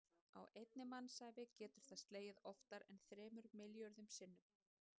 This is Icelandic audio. Á einni mannsævi getur það slegið oftar en þremur milljörðum sinnum.